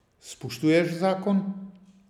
Spoštuješ zakon.